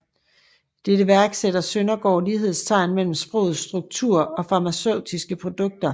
I dette værk sætter Søndergaard lighedstegn mellem sprogets struktur og farmaceutiske produkter